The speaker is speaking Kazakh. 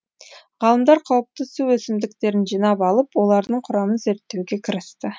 ғалымдар қауіпті су өсімдіктерін жинап алып олардың құрамын зерттеуге кірісті